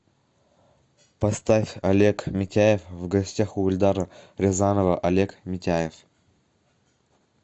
поставь олег митяев в гостях у эльдара рязанова олег митяев